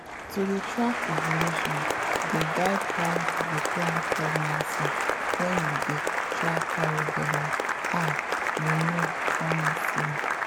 to dey track ovulation dey guide how you go plan pregnancy when you dey try carry belle ah you know honestly.